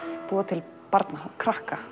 búa til barna krakka